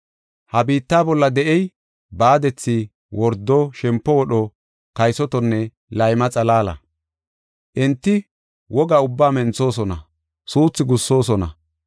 Ha biitta bolla de7ey baadethi, wordo, shempo wodho, kaysotonne layma xalaala. Enti woga ubbaa menthosona; suuthu gussoosona.